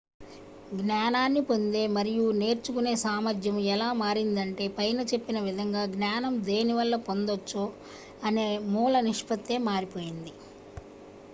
జ్ఞానాన్ని పొందే మరియు నేర్చుకునే సామర్థ్యం ఎలా మారిందంటే పైన చెప్పిన విధంగా జ్ఞానం దేని వల్ల పొందొచ్చు అనే మూల నిష్పత్తే మారిపోయింది